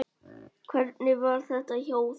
Hvernig var þetta hjá þér?